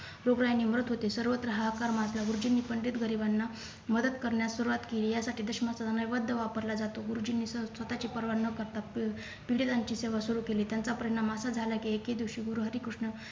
म्हणत होते सर्वत्र हाहाकार माजला गुरुजींनी पंडित गरिबांना मदत करण्यास सुरुवात केली यासाठी दशमसला नैवेद्य वापरला जातो गुरुजींनी स स्वतःची परवा न करता पी पीडितांची सेवा सुरू केली त्याचा परिणाम असा झाला की एके दिवशी गुरुहरी कृष्ण